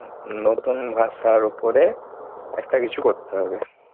নতুন ভাষার ওপরে। একটা কিছু করতে হবে।